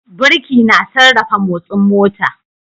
Birki na sarrafa motsin mota.